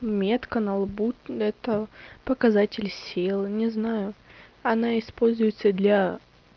метка на лбу это показатель силы не знаю она используется для